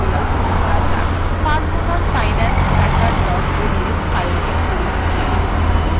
personal finance tracker ods file খুলুন